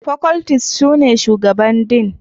Faculties sune Shugaban Dean